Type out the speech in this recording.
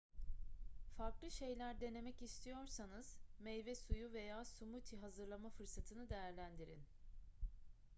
farklı şeyler denemek istiyorsanız meyve suyu veya smothie hazırlama fırsatını değerlendirin